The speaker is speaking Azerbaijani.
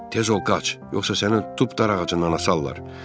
Tez ol, qaç, yoxsa səni tutub darağacından asarlar.